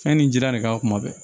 Fɛn ni jira de ka kuma bɛɛ